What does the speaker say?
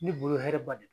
Ne bolo hɛrɛ ba de don